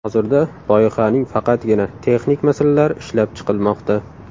Hozirda loyihaning faqatgina texnik masalalari ishlab chiqilmoqda.